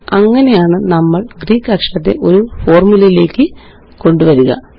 അങ്ങനെയാണ്നമ്മള് Greek അക്ഷരത്തെ ഒരു ഫോര്മുലയിലേയ്ക്ക് കൊണ്ടുവരിക